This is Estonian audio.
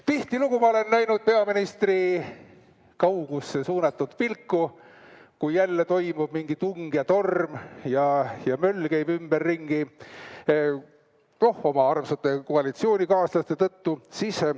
Tihtilugu ma olen näinud peaministri kaugusse suunatud pilku, kui jälle toimub mingi tung ja torm ja möll käib ümberringi – noh, oma armsate koalitsioonikaaslaste tõttu.